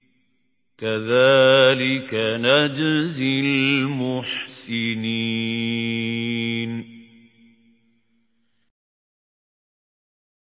كَذَٰلِكَ نَجْزِي الْمُحْسِنِينَ